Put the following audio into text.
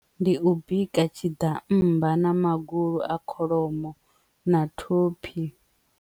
Ndi u bika tshiḓammba na magulu a kholomo na thophi.